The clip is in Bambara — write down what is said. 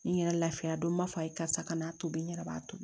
N yɛrɛ lafiya don n b'a fɔ a ye karisa ka n'a tobi n yɛrɛ b'a to